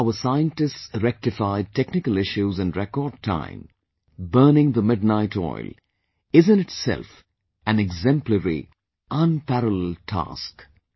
The way our scientists rectified Technical issues in record time, burning the midnight oil, is in itself an exemplary, unparalleled task